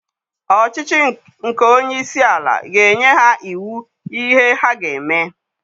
Ọchịchị nke onye isi ala ga-enye ha iwu ihe ha ga-eme